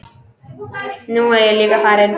Nú er ég líka farinn.